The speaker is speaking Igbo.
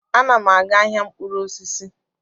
Ana m aga ahịa mkpụrụ osisi.